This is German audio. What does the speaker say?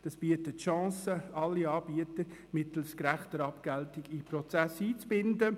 Dies bietet die Chancen, alle Anbieter mittels gerechter Abgeltung in den Prozess einzubinden.